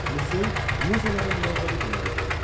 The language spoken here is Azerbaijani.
Musey Muzaların məbədi demək idi.